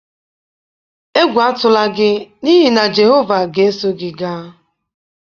Egwu atụla gị n'ihi na Jehova ga-eso gị gaa.